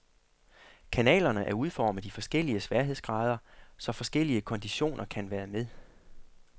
Kanalerne er udformet i forskellige sværhedsgrader, så forskellige konditioner kan være med.